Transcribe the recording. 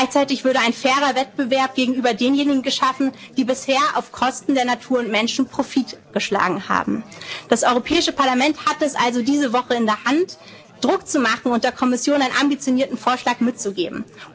wirtschaften. Gleichzeit würde ein fairer Wettbewerb gegenüber denjenigen geschaffen, die bisher auf Kosten der Natur und Menschen Profit geschlagen haben. Das Europäische Parlament hat es also diese Woche in der Hand, Druck zu machen und der Kommission einen ambitionierten Vorschlag